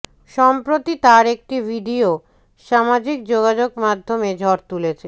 সম্প্রতি তার একটি ভিডিও সামাজিক যোগাযোগ মাধ্যমে ঝড় তুলেছে